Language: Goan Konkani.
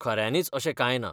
खऱ्यांनीच अशें कांय ना.